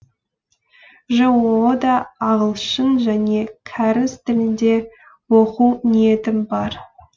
жоо да ағылшын және кәріс тілінде оқу ниетім бар